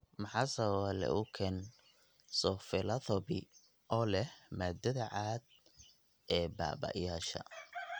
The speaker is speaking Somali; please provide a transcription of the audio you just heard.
Maxaa sababa leukoencephalopathy oo leh maaddada cad ee baaba'aysa?